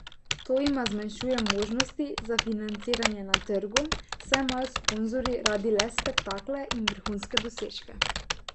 To jima zmanjšuje možnosti za financiranje na trgu, saj imajo sponzorji radi le spektakle in vrhunske dosežke.